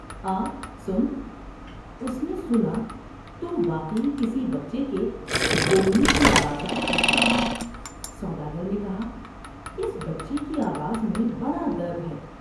آ ، سن '' اس نے سنا تو واقعی کسی بچے کے بولنے کی آواز آ رہی تھی ، سودا گر نے کہا '' اس بچے کی آواز میں بڑا درد ہے ۔